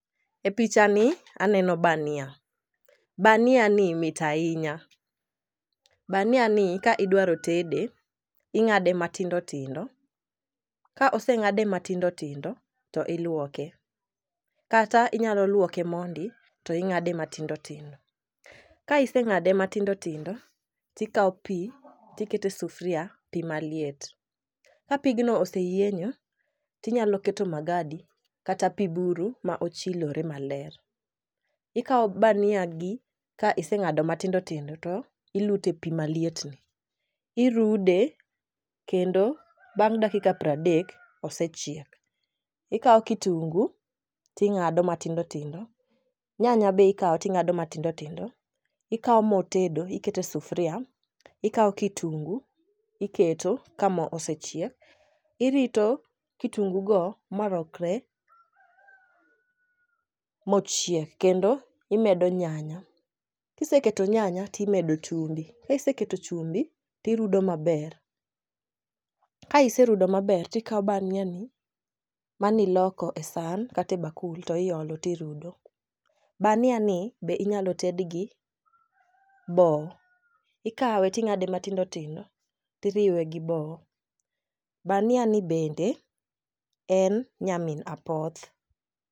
E picha ni aneno bania , bania ni mit ahinya . Bania ni ka idwaro tede ing'ade matindo tindo. Ka oseng'ade matindo tindo to iluoke kata inyalo luoke mondi to ing'ade matindotindo .Ka iseng'ade matindo tindo tikawo pii to ikete sufria pii malet .Ka pigno oseyienyo tinyalo keto magadi kata pii buru ma ochilore maler . Ikawo bania gi ka iseng'ado matindotindo to ilute pii malietni. Irude kendo bang' dakika pra dek osechiek. ikawo kitungu ting'ado matindotindo, nyanya be ikawo ting'ado matindotindo ikawo moo tedo ikete sufria ikawo kitungu iketo ka moo osechiek, irito kitungu go malokre mochiek kendo imedo nyanya. Kiseketo nyanya timedo chumbi kiseketo chumbi tirudo maber. Ka iserudo maber tikawo bania ni maniloko e san kate bakul to iolo tirudo. Bania ni be inyalo ted gi bo. Ikawo ting'ade matindotindo tiriwe gi boo. Bania ni bende en nyamin apoth.